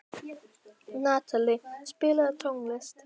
Natalie, spilaðu tónlist.